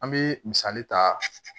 An bɛ misali ta